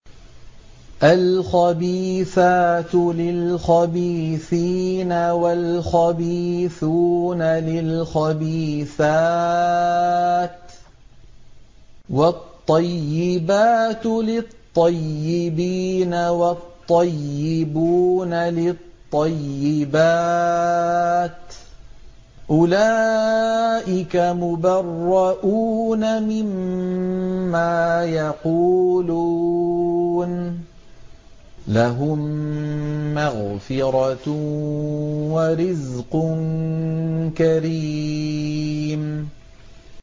الْخَبِيثَاتُ لِلْخَبِيثِينَ وَالْخَبِيثُونَ لِلْخَبِيثَاتِ ۖ وَالطَّيِّبَاتُ لِلطَّيِّبِينَ وَالطَّيِّبُونَ لِلطَّيِّبَاتِ ۚ أُولَٰئِكَ مُبَرَّءُونَ مِمَّا يَقُولُونَ ۖ لَهُم مَّغْفِرَةٌ وَرِزْقٌ كَرِيمٌ